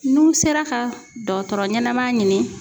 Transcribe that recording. N'u sera ka dɔtɔrɔ ɲanama ɲini